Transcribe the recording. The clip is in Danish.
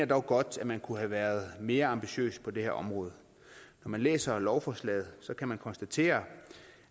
dog godt at man kunne have været mere ambitiøs på det her område når man læser lovforslaget kan man konstatere